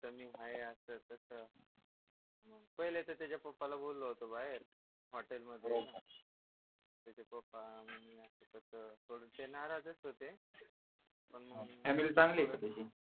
इथ मी आहे असं तस पहिले त तिच्या पप्पाला बोललो होतो बाहेर हॉटेल मध्ये तिचे पप्पाहणे अस कस ते नाराजच होते पण मग